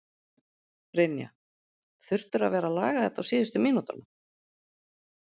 Brynja: Þurftirðu að vera að laga þetta á síðustu mínútunum?